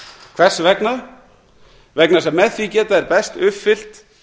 hvers vegna vegna þess að á því geta þeir best uppfyllt